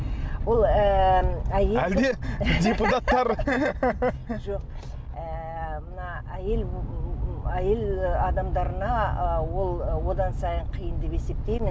ол ііі әлде депутаттар жоқ ііі мына әйел әйел адамдарына ы ол одан сайын қиын деп есептеймін